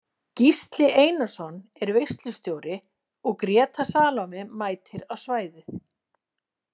Gísli Einarsson er veislustjóri og Gréta Salome mætir á svæðið.